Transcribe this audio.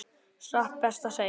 Satt best að segja.